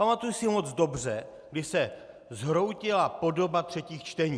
Pamatuji si moc dobře, kdy se zhroutila podoba třetích čtení.